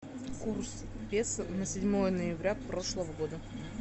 курс песо на седьмое ноября прошлого года